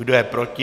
Kdo je proti?